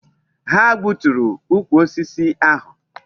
Ha gbuturu ukwu osisi ahu